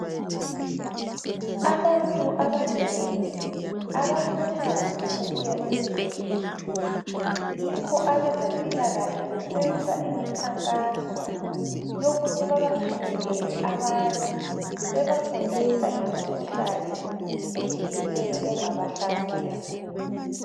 Abantu abanengi abakuthandi ukuya esibhedlela, yikho abezempilakahle besenza imikhakhanso yokuthi babafinyelele abantu bebafundisa ngemikhuhlane etshiyeneyo engabahlasela.